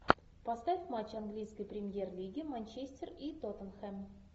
поставь матч английской премьер лиги манчестер и тоттенхэм